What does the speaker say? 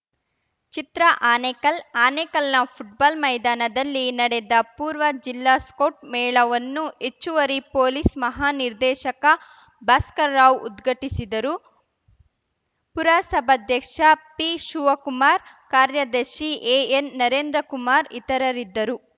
ಚಿತ್ರ Anekal ಆನೇಕಲ್‌ನ football ಮೈದಾನದಲ್ಲಿ ನಡೆದ ಪೂರ್ವ ಜಿಲ್ಲಾ ಸ್ಕೌಟ್‌ ಮೇಳವನ್ನು ಹೆಚ್ಚುವರಿ ಪೊಲೀಸ್‌ ಮಹಾ ನಿರ್ದೇಶಕ ಭಾಸ್ಕರ್‌ರಾವ್‌ ಉದ್ಘಾಟಿಸಿದರು ಪುರಸಭಾಧ್ಯಕ್ಷ ಪಿಶಿವ ಕುಮಾರ್‌ ಕಾರ್ಯದರ್ಶಿ ಎಎನ್‌ನರೇಂದ್ರಕುಮಾರ್‌ ಇತರರಿದ್ದರು